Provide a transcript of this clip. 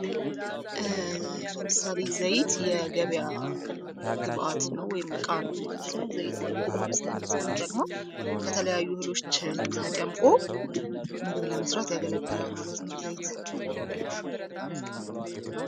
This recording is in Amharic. ለምሳሌ ዘይት የገበያ ግብዓት ነው ወይም ዕቃ ነው ማለት ነው። ዘይት ለምግብ ማብሳያነት ነው የሚጠቅመው። ከተለያዩ እህሎች ተጨምቆ ምግብ ለመስራት ያገለግላል ማለት ነው ዘይት።